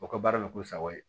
O ka baara bɛ k'u sago ye